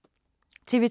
TV 2